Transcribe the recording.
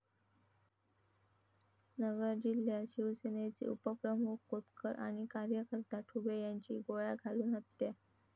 नगर जिल्ह्यात शिवसेनेचे उपप्रमुख कोतकर आणि कार्यकर्ता ठुबे यांची गोळ्या घालून हत्या